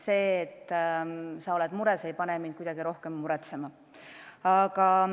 See, et sa oled mures, ei pane mind kuidagi rohkem muretsema.